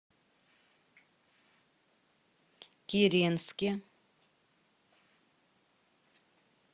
киренске